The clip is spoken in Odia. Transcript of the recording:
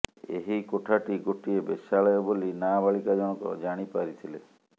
ଏହି କୋଠାଟି ଗୋଟିଏ ବେଶ୍ୟାଳୟ ବୋଲି ନାବାଳିକା ଜଣକ ଜାଣି ପାରିଥିଲେ